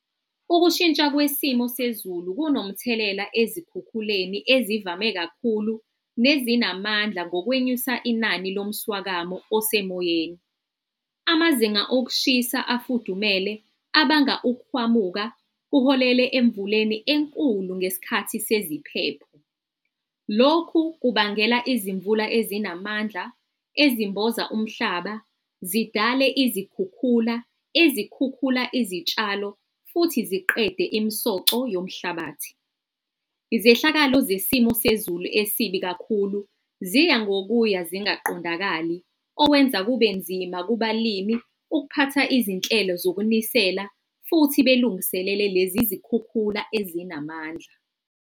Ukushintsha kwisimo sezulu kunomthelela ezikhukhuleni ezivame kakhulu, nezinamandla ngokwenyusa inani lomswakamo osemoyeni. Amazinga okushisa afudumele abanga ukuhwamuka kuholele emvuleni enkulu ngesikhathi seziphepho. Lokhu kubangela izimvula ezinamandla ezimboza umhlaba, zidale izikhukhula, izikhukhula, izitshalo futhi ziqede imsoco yomhlabathi. Izehlakalo zesimo sezulu esibi kakhulu ziya ngokuya zingaqondakali okwenza kube nzima kubalimi ukuphatha izinhlelo zokunisela futhi belungiselele lezi zikhukhula ezinamandla.